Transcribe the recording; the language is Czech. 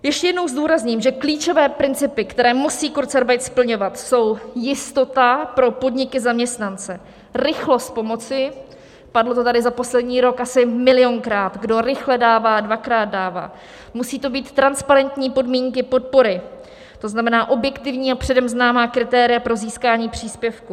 Ještě jednou zdůrazním, že klíčové principy, které musí kurzarbeit splňovat, jsou jistota pro podniky, zaměstnance, rychlost pomoci - padlo to tady za poslední rok asi milionkrát: kdo rychle dává, dvakrát dává - musí to být transparentní podmínky podpory, to znamená, objektivní a předem známá kritéria pro získání příspěvku.